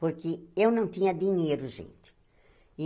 Porque eu não tinha dinheiro, gente.